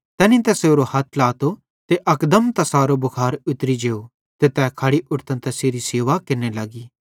तैनी तैसारो हथ ट्लातो ते अकदम तैसारो भुखार उतरी जेव ते तै खड़ी उट्ठतां तैसेरी सेवा केरने लग्गी